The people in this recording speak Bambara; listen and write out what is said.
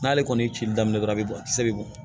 N'ale kɔni ye cili daminɛ dɔrɔn a bɛ bɔn a kisɛ bɛ bɔn